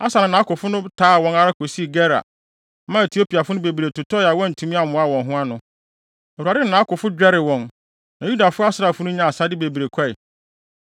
Asa ne nʼakofo no taa wɔn ara kosii Gerar, maa Etiopiafo no bebree totɔe a wɔantumi ammoa wɔn ho ano. Awurade ne nʼakofo dwerɛw wɔn, na Yuda asraafo no nyaa asade bebree kɔe.